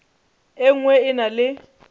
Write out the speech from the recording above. e nngwe e na le